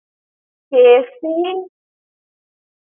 KFC ।